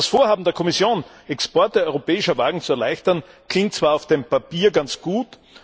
Das Vorhaben der Kommission, Exporte europäischer Wagen zu erleichtern, klingt zwar auf dem Papier ganz gut